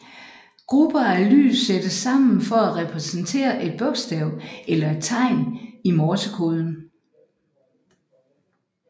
Grupper af lys sættes sammen for at repræsentere et bokstav eller et tegn i morsekoden